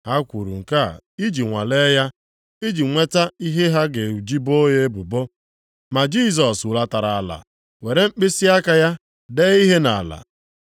Ha kwuru nke a iji nwalee ya, iji nweta ihe ha ga-eji ebo ya ebubo. Ma Jisọs hulatara ala were mkpịsịaka ya dee ihe nʼala.